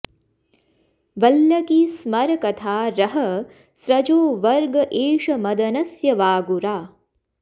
वल्लकी स्मरकथा रहः स्रजो वर्ग एष मदनस्य वागुरा